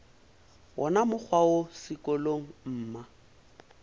wona mokgwa wo sekolong mma